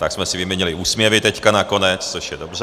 Tak jsme si vyměnili úsměvy teď nakonec, což je dobře.